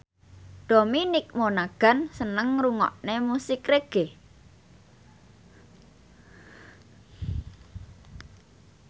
Dominic Monaghan seneng ngrungokne musik reggae